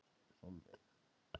Sólveig